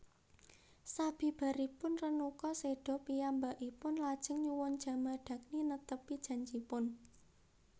Sabibaripun Renuka séda piyambakipun lajeng nyuwun Jamadagni netepi janjiipun